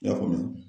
I y'a faamu